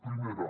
primera